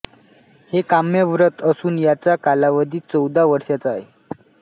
हे काम्य व्रत असून याचा कालावधी चौदा वर्षांचा आहे